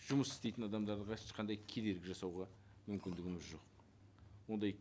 жұмыс істейтін адамдарға ешқандай кедергі жасауға мүмкіндігіміз жоқ ондай